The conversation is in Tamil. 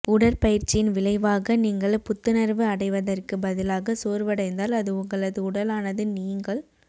உடற்பயிற்சியின் விளைவாக நீங்கள் புத்துணர்வு அடைவதற்கு பதிலாக சோர்வடைந்தால் அது உங்களது உடலானது நீங்கள்